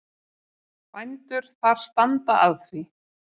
Bændur þar standa að því.